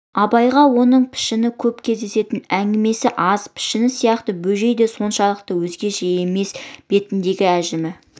абайға оның пішіні көп кездесетін әңгімесі аз пішін сияқты бөжей де оншалық өзгеше емес бетінде ажымы